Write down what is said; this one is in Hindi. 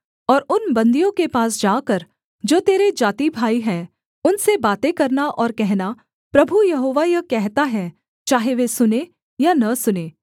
और उन बन्दियों के पास जाकर जो तेरे जाति भाई हैं उनसे बातें करना और कहना प्रभु यहोवा यह कहता है चाहे वे सुनें या न सुनें